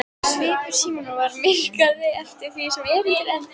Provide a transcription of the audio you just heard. Svipur Símonar varð myrkari eftir því sem erindið lengdist.